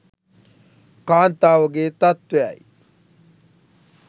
කාන්තාවගේ තත්ත්වයයි.